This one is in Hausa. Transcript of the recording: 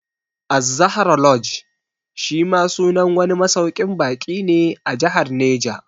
Az-Zahra Lodge shi ma sunan wani masauƙin baƙi ne a Jahar Neja